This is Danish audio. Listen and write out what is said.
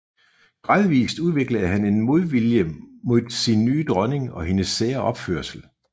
Gradvist udviklede han en modvilje mod sin nye dronning og hendes sære opførsel